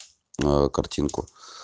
картинку